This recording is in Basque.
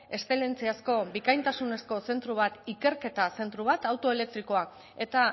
eszelentziazko bikaintasunezko zentro bat ikerketa zentro bat auto elektrikoa eta